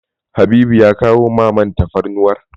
Habibu ya kawo ma man tafarnuwar?